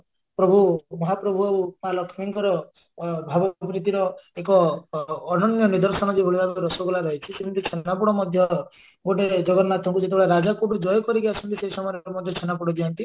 ପ୍ରଭୁ ମହାପ୍ରଭୁ ଆଉ ମାଆ ଲକ୍ଷ୍ମୀଙ୍କର ଅ ଭାବ ପ୍ରୀତିର ଏକ ଅନନ୍ୟ ନିଦର୍ଶନ ଯଉଭଳି ଭାବେ ରସଗୋଲା ରହିଛି ସେମିତି ଛେନାପୋଡ ମଧ୍ୟ ଗୋଟେ ଜଗନ୍ନାଥଙ୍କୁ ଯେତେବେଳେ ରାଜା ଜୟ କରିକି ଆସନ୍ତି ସେଇ ସମୟରେ ମଧ୍ୟ ଛେନାପୋଡ ଦିଅନ୍ତି